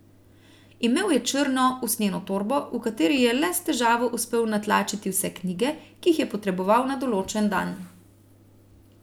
Imel je črno, usnjeno torbo, v katero je le s težavo uspel natlačiti vse knjige, ki jih je potreboval na določen dan.